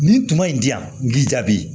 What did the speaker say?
Nin kuma in di yan n k'i jaabi